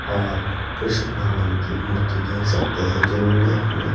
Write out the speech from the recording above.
औरकृष्ण भगवान की मूर्ति देख सकते हैं जिन्होंने अपने--